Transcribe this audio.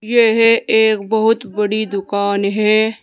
यह एक बहुत बड़ी दुकान है।